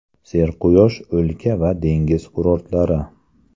Serquyosh o‘lka va dengiz kurortlari.